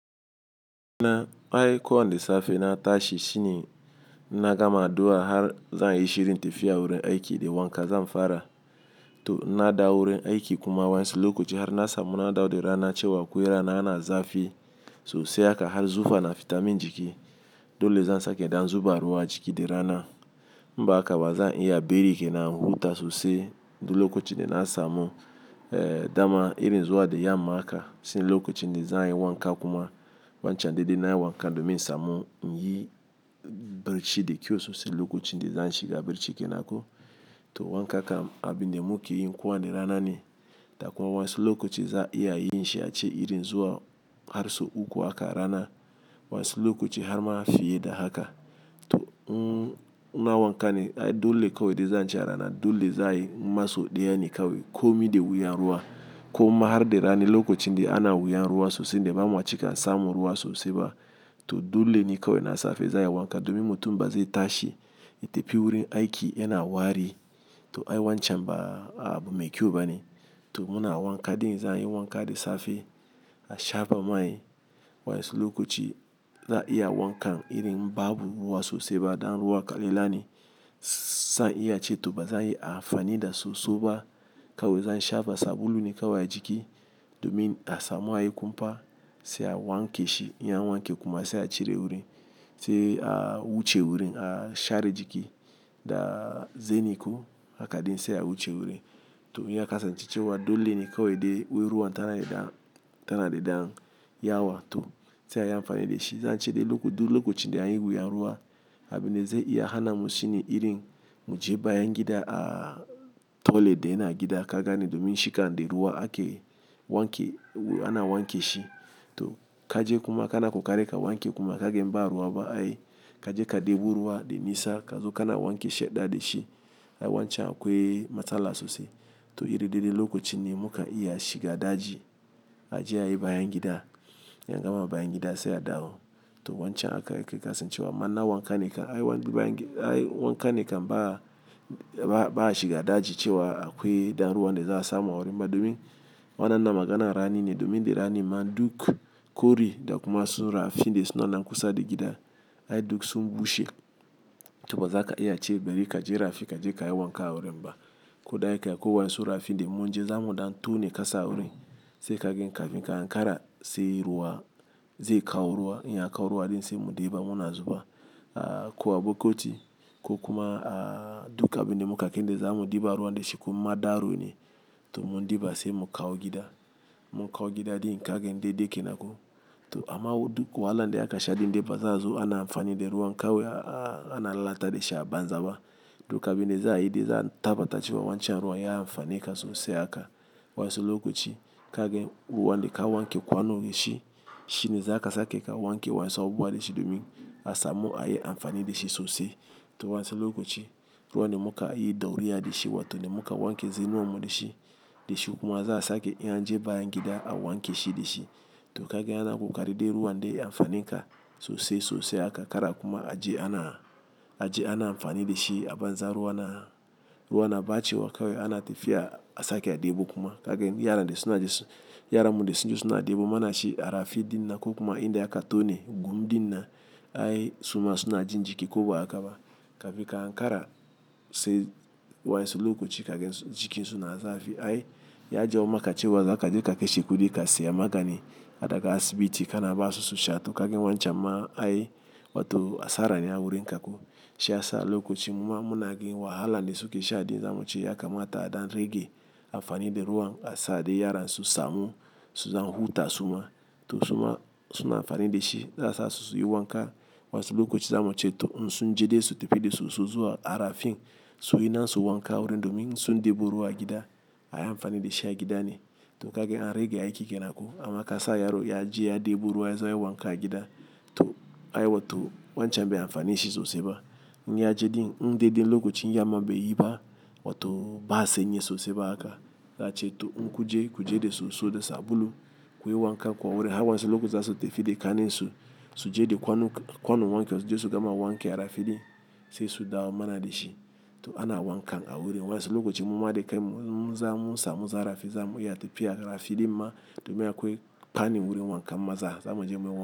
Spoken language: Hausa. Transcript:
Na, ai ko wane safe na tashi shi ne ina gama adu'a har zan yi shirin tafiya wurin aiki da wanka zan fara. Toh ina dawo wurin aiki kuma wasu lokaci har na samu na dawo da rana cewa akwai rana yana zafi sosai haka har zufa na fitamin jiki. Dole zan sake dan zuba ruwa a jiki da rana. In ba haka zan iya bari kena in huta sosai. Dul lokacin da na samu, eh, dama irin zuwa da yamma haka, sai lokacin da zan yi wanka kuma wancan dai-dai na yi wanka domin in samu yin birci da kyau sosai. Lokacin da zan shiga birci kena ko. Toh wanka kam abin da muke yi kowane rana ne. Da akwai wasu lokaci za a iya yin shi a ce irin zuwa har sau uku haka rana. Wasu lokaci har ma fiye da haka. Toh, na wanka ne ai dole kawai dai zan ce a rana ne. Dole za a yi in ma so ɗaya ne kawai komi da wuyan ruwa. Ko ma har da rani lokacin da ana wuyan ruwa sosai dai ba mu wa cika samu ruwa sosai ba. Toh dole ne kawai na safe za a yi wanka domin mutum ba zai tashi ya tafi wurin aiki yana wari. Toh ai wancan ba, abu mai kyau bane. Toh muna wanka din za a yi wanka da safe a shafa mai. Wasu lokaci za a iya wankan irin babu ruwa sosai ba. Dan ruwa kalila ne. Zan iya ce toh ba zan yi amfani da soso ba. Kawai zan shafa sabulu ne kawai a jiki, domin a samu a yi kumfa sai a wanke shi. In an wanke kuma sai a cire wuri sai a wuce wurin a share jiki da zeni ko. Haka dai sai a wuce wurin. Toh, in ya kasancewa dole ne kawai dai wai ruwan tana daidan, tana daidan ya wa toh sai a yi amfani da shi. Zan ce dai lokacin da anyi wuyan ruwa abin da zai iya hana mu shi ne irin mu je bayan gida ah toilet da ya na gida ka gani domin shi kan da ruwa ake wanke ana wanke shi. Toh kaje kuma kana kokari ka wanke kuma ka gan ba ruwa ba ai kaje ka ɗebo ruwa dai nisa ka zo kana wanke shaɗɗa da shi. Ai wancan akwai matsala sosai. Toh irin dai dai lokacin ne muka iya shiga daji. A je a yi bayan gida. In an gama bayan gida sai a dawo. Toh wancan haka yake kasancewa. Ama na wanka ne kam ai wanka ne kam ba a shiga daji cewa akwai dan ruwan da za a samu a wurin. Ba domin wannan maganar rani ne domin da rani man duk kori da kuma sun rafi dai suna nan kusa da gida. Ai duk sun bushe. Toh ba za ka iya ce bari kaje rafi kaje ka yi wanka a wurin ba. Ko da yake waensu rafi da mun je zamu ɗan tone kasa a wurin. Sai ka gan kafinka hankara sai ruwa zai kawo ruwa. Yana kawo ruwa dai sai mu ɗeba mu na zuba. A kuwa bukoti ko kuma ah duk abin da muka ke da zamu ɗeba ruwan da shi ko ma daro ne. Toh mun ɗiba sai mu kawo gida. Mu kawo gida din ka gan dai-dai kena ko. Toh amma wai duk wahala da aka sha din dai ba za zo ana amfani da ruwan kawai ana lalata da shi a banza ba. Duk abin da za a yi dai za a tabbata cewa wancan ruwan ya amfane ka sosai haka. Wasu lokaci ka gan ruwan da ka wanke kwano da shi. Shi ne zaka sake ka wanke wasan abu bane shi domin a samu a yi amfani da shi sosai. Toh wansu lokaci ruwan da muka yi ɗauriya da shi wato da muka wanke zenuwan mu da shi. Da shi kuma za a sake in an je bayan gida a wanke shi da shi. Toh ka gan ana kokari dai ruwan dai ya amfane ka sosai sosai haka kara kuma a je ana, a je ana amfani da shi a banza ruwa na, ruwa na ɓace wa kawai ana tafiya a sake a ɗebo kuma. Ka gan yaran da suna je su, yaranmu da suna je suna ɗebo muna shi a rafi din na ko kuma inda aka tone gum din na ai suma suna jin jiki ko ba haka ba. Kafinka hankara sai wasu lokaci ka gan su jikinsu na zafi ai ya je maka cewa zaka je ka kashe kudi ka siya magani. Ba daga kasibiti kana basu su sha toh ka gan wancan ma ai wa toh asara ne a wurinka ko. Shi ya sa lokaci mu ma muna gan wahala da suke sha dai za mu ce ya kamata a ɗan rage amfani da ruwan a sa dai yaran su samu su zan huta suma. Toh suma suna amfani da shi. Za sa su su yi wanka. Wasu lokaci zamu ce toh in sun je dai su tafi da soso zuwa a rafin suyi na su wanka a wurin domin sun ɗebo ruwa a gida. A yi amfani da shi a gida ne. To ka gan an rage aiki kena ko. Amma kasa yaro ya je ya ɗebo ruwa ya zo yayi wanka a gida. Toh, ai wato wancan bai amfane shi sosai ba. In ya je din in dai-dai lokacin yamma bai yi ba wa toh ba sanyi sosai ba haka. Za ce toh in kun je ku je da soso da sabulu kuyi wankanku a wurin. Har waensu lokaci za su tafi da kannan su, su je da kwanon wankewa su je su gama wanke a rafi din sai su dawo mana da shi. Toh ana wankan a wurin. Wasu lokaci mu ma da kanmu in zan mun samu zarafi zamu iya tafiya rafi din ma domin akwai fannin wurin wankan maza zamu je muyi wanka.